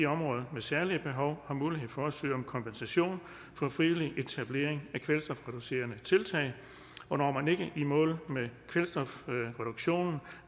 områder med særlige behov har mulighed for at søge om kompensation for frivillig etablering af kvælstofreducerende tiltag og når man ikke i mål med kvælstofreduktionen